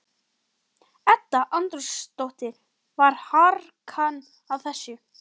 Edda Andrésdóttir: Var harkan á þessu?